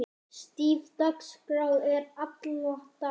Stíf dagskrá er alla daga.